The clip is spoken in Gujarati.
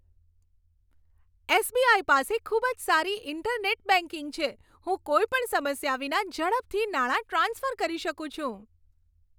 એસ.બી.આઇ. પાસે ખૂબ જ સારી ઇન્ટરનેટ બેંકિંગ છે. હું કોઈ પણ સમસ્યા વિના, ઝડપથી નાણાં ટ્રાન્સફર કરી શકું છું.